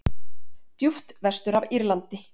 djúpt vestur af Írlandi.